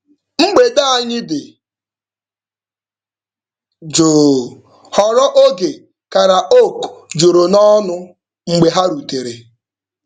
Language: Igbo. Mgbede anyị dị jụụ ghọrọ oge karaoke juru n'ọṅụ mgbe ha rutere.